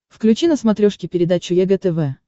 включи на смотрешке передачу егэ тв